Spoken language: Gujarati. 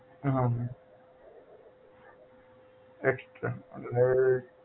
હા મેમ extra હવે